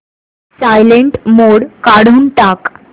silent mode काढून टाक